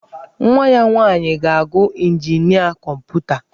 Nwa ya nwaanyị ga-agụ injinia kọmputa.